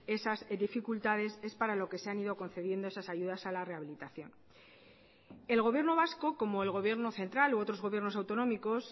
esas dificultades es para lo que se han ido concediendo esas ayudas a la rehabilitación el gobierno vasco como el gobierno central u otros gobiernos autonómicos